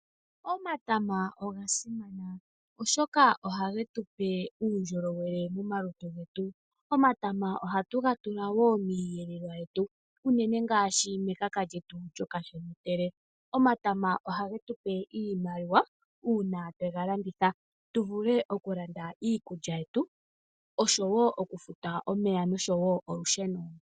Omatama ogasimana oshoka ohagetupe uundjolowele momalutu getu. Omatama ohatugatula wo miihelelwa yetu uunene ngaashi mekaka lyetu lyokashemetele. Omatama ohagetupe iimaliwa uuna twegalanditha tuvule okulanda iikulya yetu osho wo okufuta omeya nosho wo olusheno.